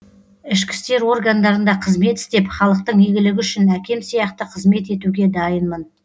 ішкі істер органдарында қызмет істеп халықтың игілігі үшін әкем сияқты қызмет етуге дайынмын